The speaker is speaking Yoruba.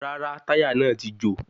Rárá, táyà náà ti jò